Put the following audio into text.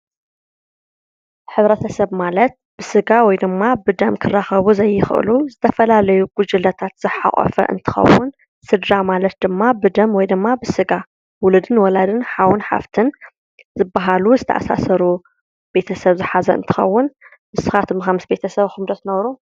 ሕብረተሰብ ማለት ብስድራ ወይ ድማ ብደም ክራከቡ ዘይክእሉ ዝተፈላለዩ ጉጅለታት ዝሓቆፈ እንትከውን ስድራ ማለት ድማ ብደም ወይ ድማ ብስጋ ውሉድን ውላድን ሓውን ሓፍት ዝባሃሉ ዝተኣሳሰሩ ቤተሰብ ዝሓዘ እንትከውን ንስካትኩም ከ ምስ ቤተሰብኩም ዶ ትነብሩ?